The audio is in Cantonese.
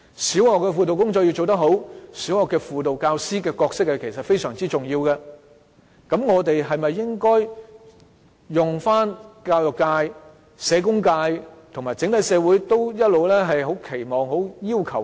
小學輔導工作要做得好，小學輔導教師的角色非常重要，我們應否採用教育界、社工界和整個社會也很期望的"一加一"模式？